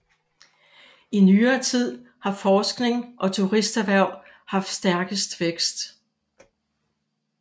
I nyere tid har forskning og turisterhverv haft stærkest vækst